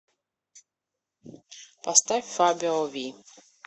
поставь фабио ви